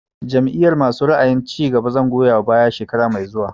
Jam'iyar masu ra'ayin cigaba zan goya wa baya shekara mai zuwa